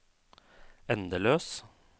endeløs